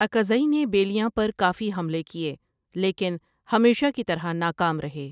اکاذی نے یبیلیاں پر کافی حملے کۓلیکین ہمیشہ کی طرح نا کام رہے۔